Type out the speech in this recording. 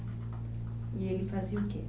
E ele fazia o quê?